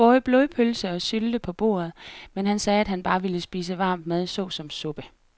Der var både blodpølse og sylte på bordet, men han sagde, at han bare ville spise varm mad såsom suppe.